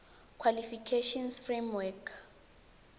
qualifications framework nqf